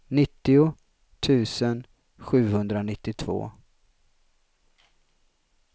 nittio tusen sjuhundranittiotvå